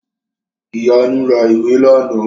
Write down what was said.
Ìyanu ra ìwé làná